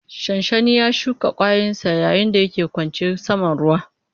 Shanshani na shuka ƙwayayensa yayin da yake ƙwace saman ruwa.